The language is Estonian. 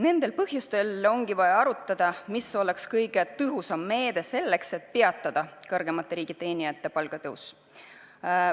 Nendel põhjustel ongi vaja arutada, kuidas oleks kõige arukam kõrgemate riigiteenijate palga tõus peatada.